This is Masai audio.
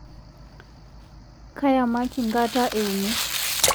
Kayamaki nkata euni